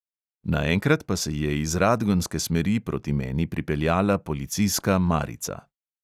Naenkrat pa se je iz radgonske smeri proti meni pripeljala policijska marica.